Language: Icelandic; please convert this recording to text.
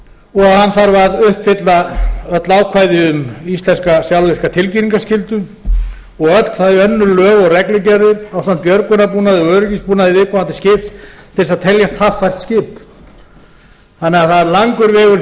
og hann þarf að uppfylla öll ákvæði um íslenska sjálfvirka tilkynningarskyldu og öll þau önnur lög og reglugerðir ásamt björgunarbúnað og öryggisbúnaði í viðkomandi skip til þess að teljast haffært skip það er því langur vegur